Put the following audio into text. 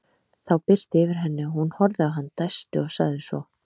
Þá birti yfir henni og hún horfði á hann, dæsti og sagði svo